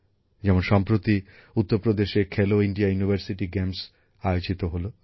যেমন সম্প্রতি উত্তরপ্রদেশে খেলো ইন্ডিয়া বিশ্ববিদ্যালয় ক্রীড়া প্রতিযোগিতা আয়োজিত হল